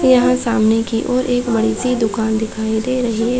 यह सामने की ओर एक बड़ी -सी दुकान दिखाई दे रही है।